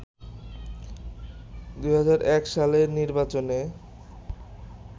২০০১ সালের নির্বাচনে